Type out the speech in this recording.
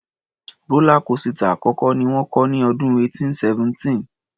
Rọ́lá kósità àkọ́kọ́ ni wọ́n kọ́ ní ọdún 1817.